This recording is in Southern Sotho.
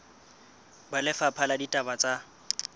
ba lefapha la ditaba tsa